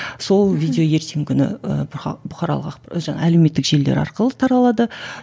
сол видео ертеңгі күні ы бұқаралық жаңағы әлеуметтік желілер арқылы таралады